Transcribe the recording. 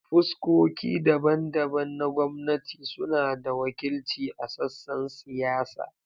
Fuskoki daban-daban na gwamnati suna da wakilci a sassan siyasa.